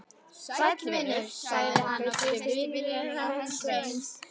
Sæll vinur, sagði hann og kreisti vinnulúna hönd Sveins.